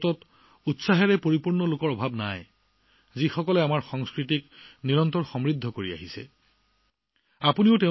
ভাৰতত আমাৰ সংস্কৃতিক সমৃদ্ধ কৰি ৰখা উৎসাহী আৰু উদ্যমী মানুহৰ অভাৱ নাই